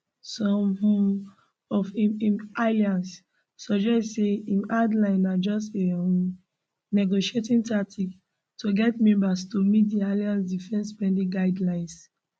some um of im im allies suggest say im hard line na just a um negotiating tactic to get members to meet di alliance defence spending guidelines